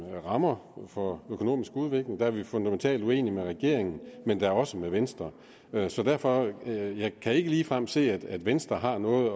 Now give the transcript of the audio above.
rammer for økonomisk udvikling der er vi fundamentalt uenige med regeringen men da også med venstre venstre derfor kan jeg ikke ligefrem se at venstre har noget